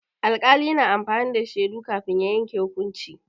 Alƙali yana amfani da shaidu kafin ya yanke hukunci.